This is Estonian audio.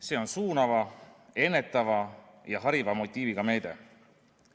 See on suunava, ennetava ja hariva motiiviga meede.